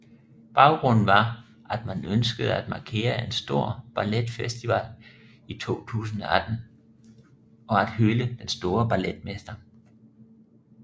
Baggrunden var at man ønskede at markere en stor balletfestival i 2018 og at hylde den store balletmester